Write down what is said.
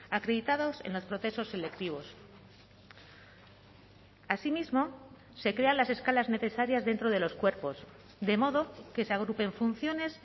acreditados en los procesos selectivos asimismo se crean las escalas necesarias dentro de los cuerpos de modo que se agrupen funciones